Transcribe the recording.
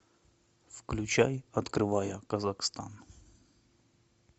включай открывая казахстан